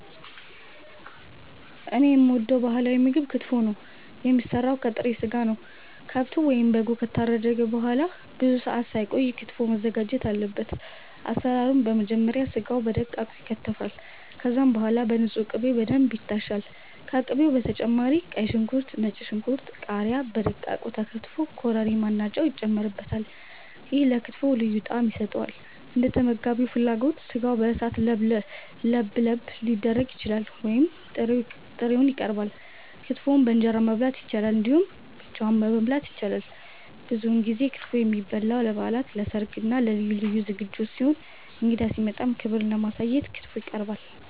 እኔ የምወደው ባህላዊ ምግብ ክትፎ ነው። የሚሰራው ከጥሬ ስጋ ነው። ከብቱ ወይም በጉ ከታረደ በኋላ ብዙ ሰአት ሳይቆይ ክትፎው መዘጋጀት አለበት። አሰራሩም በመጀመሪያ ስጋው በደቃቁ ይከተፋል። ከዛም በኋላ በንጹህ ቅቤ በደንብ ይታሻል። ከቅቤው በተጨማሪ ቀይ ሽንኩርት፣ ነጭ ሽንኩርት፣ ቃሪያ በደቃቁ ተከትፈው ኮረሪማ እና ጨው ይጨመርበታል። ይሄም ለክትፎው ልዩ ጣዕም ይሰጠዋል። እንደተመጋቢው ፍላጎት ስጋው በእሳት ለብለብ ሊደረግ ይችላል ወይም ጥሬውን ይቀርባል። ክትፎን በእንጀራ መብላት ይቻላል እንዲሁም ብቻውን መበላት ይችላል። ብዙውን ጊዜ ክትፎ የሚበላው ለበዓላት፣ ለሰርግ እና ለልዩ ልዩ ዝግጅቶች ሲሆን እንግዳ ሲመጣም ክብርን ለማሳየት ክትፎ ይቀርባል።